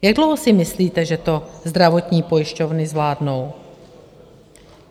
Jak dlouho si myslíte, že to zdravotní pojišťovny zvládnou?